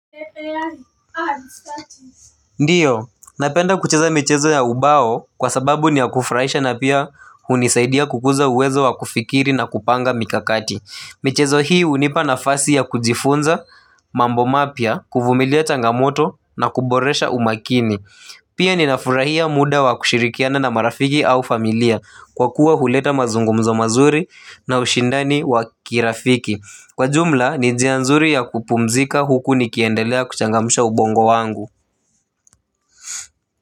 Ndiyo, napenda kucheza michezo ya ubao kwa sababu ni ya kufurahisha na pia hunisaidia kukuza uwezo wa kufikiri na kupanga mikakati. Mechezo hii hunipa nafasi ya kujifunza mambo mapya, kuvumilia changamoto na kuboresha umakini. Pia ninafurahia muda wa kushirikiana na marafiki au familia kwa kuwa huleta mazungumzo mazuri na ushindani wa kirafiki. Kwa jumla, ni njia nzuri ya kupumzika huku nikiendelea kuchangamusha ubongo wangu.